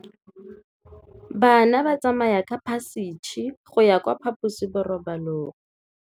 Bana ba tsamaya ka phašitshe go ya kwa phaposiborobalong.